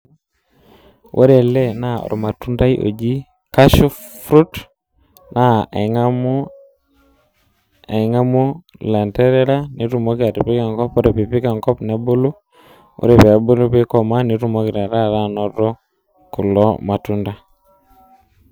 Ore ele naa ormatundai oji cashew fruit naa aingamu ilanterera nitumoki atipika enkop ,ore pipik enkop nebulu , nikomaa ,ore pikomaa nitumoki taata anoto kulo matunda.